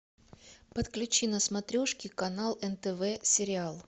подключи на смотрешке канал нтв сериал